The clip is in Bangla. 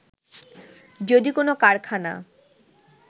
যদি কোন কারখানা